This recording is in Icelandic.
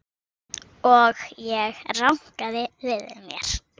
Og ég rankaði við mér.